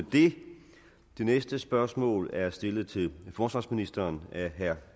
det næste spørgsmål er stillet til forsvarsministeren af herre